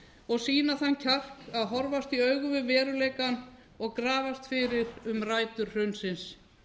og sýna þann kjark að horfast í augu við veruleikann og grafast fyrir um rætur hrunsins